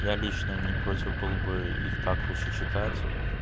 я лично не против был бы их так лучше читать